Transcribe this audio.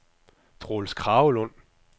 Troels Kragelund